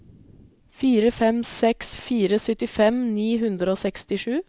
fire fem seks fire syttifem ni hundre og sekstisju